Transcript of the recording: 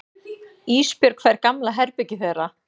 Ísbjörg fær gamla herbergið þeirra.